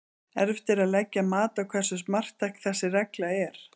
Erfitt er að leggja mat á hversu marktæk þessi regla er.